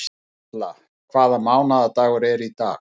Otkatla, hvaða mánaðardagur er í dag?